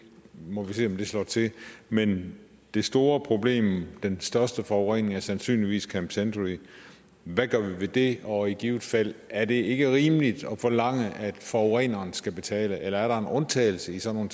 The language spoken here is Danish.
må vi se om slår til men det store problem den største forurening er sandsynligvis camp century hvad gør vi ved det og i givet fald er det ikke rimeligt at forlange at forureneren skal betale eller er der en undtagelse i sådan